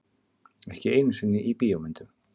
Ekki einu sinni í bíómyndum.